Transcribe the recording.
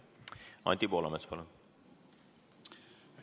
Anti Poolamets, palun!